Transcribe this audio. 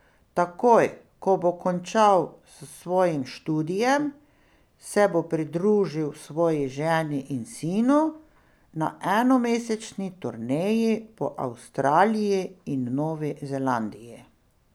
Takoj, ko bo končal s svojim študijem, se bo pridružil svoji ženi in sinu na enomesečni turneji po Avstraliji in Novi Zelandiji.